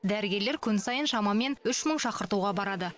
дәрігерлер күн сайын шамамен үш мың шақыртуға барады